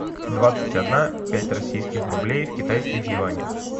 двадцать одна пять российских рублей в китайских юанях